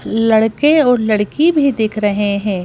लड़के और लड़की भी दिख रहे हैं।